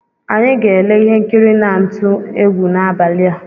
Anyị ga-ele ihe nkiri na-ntụ egwu n’abalị